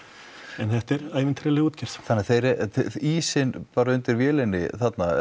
en þetta er ævintýraleg útgerð þannig að þeir er ísinn bara undir vélinni þarna eða